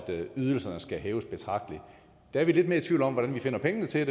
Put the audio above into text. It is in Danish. ydelserne skal hæves betragteligt der er vi lidt mere i tvivl om hvordan vi finder pengene til